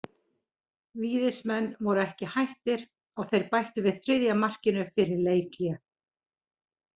Víðismenn voru ekki hættir og þeir bættu við þriðja markinu fyrir leikhlé.